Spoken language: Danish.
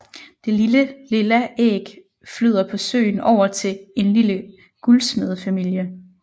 Det lille lilla æg flyder på søen over til en lille guldsmedefamilie